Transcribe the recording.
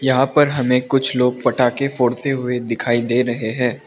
यहां पर हमे कुछ लोग पटाखे फोड़ते हुए दिखाई दे रहे है।